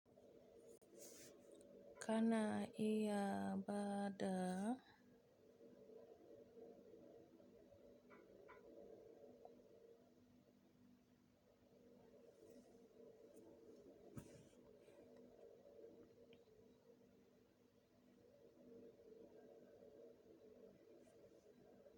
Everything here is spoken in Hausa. Kana iya bada?